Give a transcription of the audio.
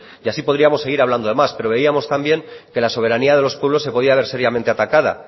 y así podríamos seguir hablando de más pero veíamos también que la soberanía de los pueblos se podía ver seriamenteatacada